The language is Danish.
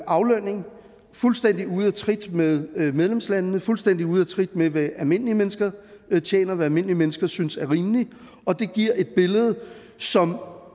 aflønning fuldstændig ude af trit med medlemslandene fuldstændig ude af trit med hvad almindelige mennesker tjener og hvad almindelige mennesker synes er rimeligt og det giver et billede som